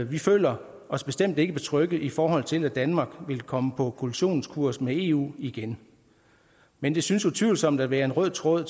vi føler os bestemt ikke betrygget i forhold til at danmark vil komme på kollisionskurs med eu igen men der synes utvivlsomt at være en rød tråd